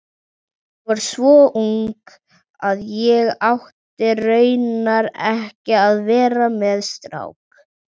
Ég var svo ung að ég átti raunar ekki að vera með strák.